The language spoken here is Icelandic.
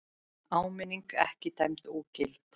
Áminning ekki dæmd ógild